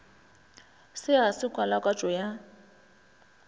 se ga se kwalakwatšo ya